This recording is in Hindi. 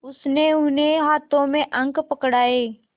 उसने उन्हें हाथों में अंक पकड़ाए